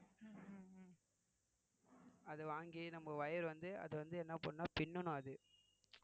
அதை வாங்கி நம்ம wire வந்து அது வந்து என்ன பண்ணும்னா பின்னனும் அது